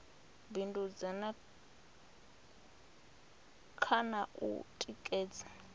bindudza kha na u tikedza